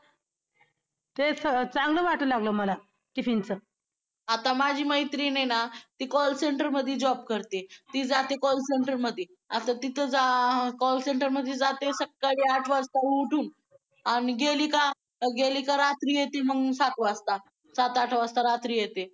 आता माझी मैत्रीण आहे न ती call सेंटर मध्ये job करते ती जाते call center आठ वाज मध्ये आता तिथे सकाळीता उठून गेली का मग रात्री सात वाजता सात आठ वाजता येते